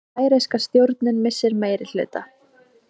Færeyska stjórnin missir meirihluta